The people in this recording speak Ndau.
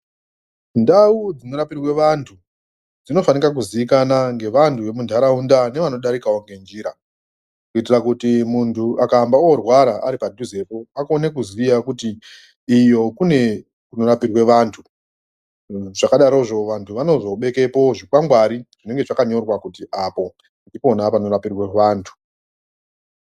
Ndau dzinorapirwe vantu dzinofanika kuziikana nevantu vemunharaunda nevanodarikao ngenjira. Kuitira kuti muntu akaamba orwara aripadhuzepo kuti akone kuziya kuti iyo kune kunorapirwa vantu. Zvakadarozvo vantu vanozobekapo zvikwangwari zvinenge zvakanyorwa kuti apa ndipo panorapirwa vantu.